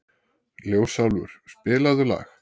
Ljósálfur, spilaðu lag.